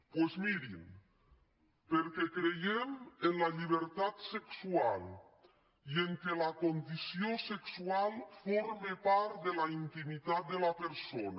doncs mirin perquè creiem en la llibertat sexual i en el fet que la condició sexual forma part de la intimitat de la persona